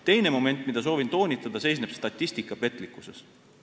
Teine moment, mida soovin toonitada, seisneb statistika petlikkuses.